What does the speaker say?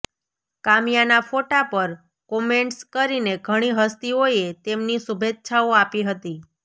કામ્યાના ફોટા પર કોમેન્ટ્સ કરીને ઘણી હસ્તીઓએ તેમની શુભેચ્છાઓ આપી હતી